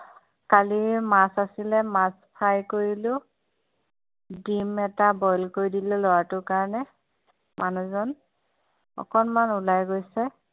কালিৰ মাছ আছিলে মাছ fry কৰিলোঁ ডিমএটা boil কৰি দিলোঁ লৰাটোৰ কাৰণে মানুহজন অকণমান ওলায় গৈছে